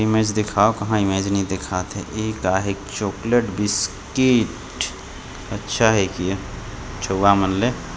Image दिखाव कहाँ image नइ दिखात हे की ता हे एक चोकलेट बिस्किट अच्छा हे कि चौगा मन ले।